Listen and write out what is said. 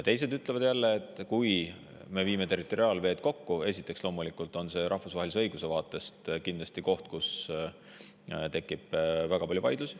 Teised jälle ütlevad, et kui me viime territoriaalveed kokku, siis on see loomulikult rahvusvahelise õiguse vaatest koht, kus tekib kindlasti väga palju vaidlusi.